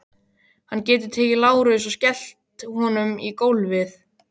Hann getur tekið Lárus og skellt honum í gólfið.